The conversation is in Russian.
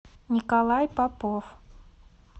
николай попов